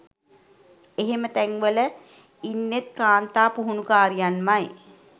එහෙම තැන්වල ඉන්නෙත් කාන්තා පුහුණුකාරියන්මයි